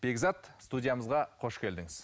бекзат студиямызға қош келдіңіз